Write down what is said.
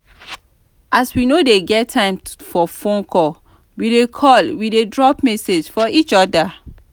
as we no dey get time for fone call we dey call we dey drop message for each other.